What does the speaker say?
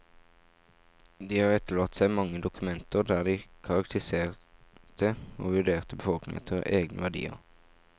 De har etterlatt seg mange dokumenter der de karakteriserte og vurderte befolkningen etter egne verdier.